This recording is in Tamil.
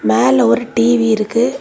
மேல ஒரு டி_வி இருக்கு.